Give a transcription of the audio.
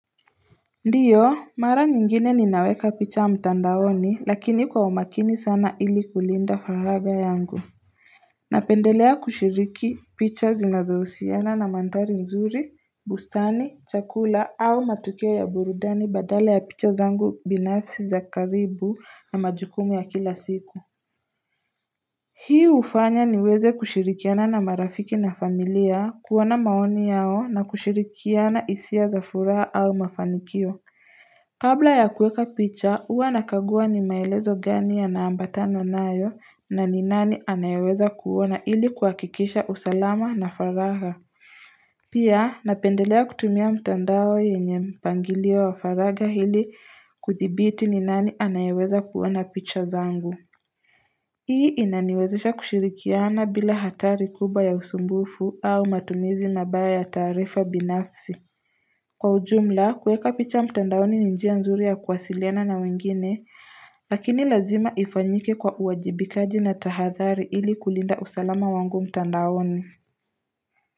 Ndiyo mara nyingine ninaweka picha mtandaoni lakini kwa umakini sana ili kulinda faraga yangu napendelea kushiriki picha zinazohusiana na manthari nzuri bustani chakula au matukia ya burudani badala ya picha zangu binafsi za karibu na majukumu ya kila siku hii hufanya niweze kushirikiana na marafiki na familia kuwana maoni yao na kushirikiana isia za furaha au mafanikio Kabla ya kueka picha, hua nakagua ni maelezo gani yanambata nayo na ni nani anayeweza kuona ili kuhakikisha usalama na faraha. Pia napendelea kutumia mtandao yenye mpangilio wa faraga hili kuthibiti ni nani anayeweza kuona picha zangu. Hii inaniwezesha kushirikiana bila hatari kubwa ya usumbufu au matumizi mabaya ya taarifa binafsi. Kwa ujumla, kueka picha mtandaoni ni njia nzuri ya kuwasiliana na wengine, lakini lazima ifanyike kwa uwajibikaji na tahathari ili kulinda usalama wangu mtandaoni.